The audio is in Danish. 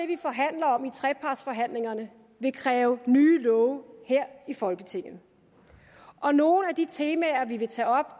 vi forhandler om i trepartsforhandlingerne vil kræve nye love her i folketinget og nogle af de temaer vi vil tage op